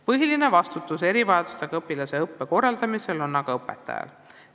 Põhiline vastutus erivajadustega õpilaste õppe korraldamisel on aga õpetajal.